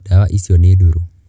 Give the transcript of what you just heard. Ndawa icio nĩ ndũrũ.